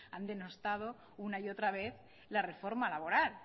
han denostado una y otra vez la reforma laboral